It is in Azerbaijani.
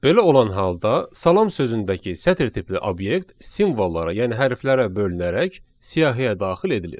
Belə olan halda salam sözündəki sətr tipli obyekt simvollara, yəni hərflərə bölünərək siyahıya daxil edilir.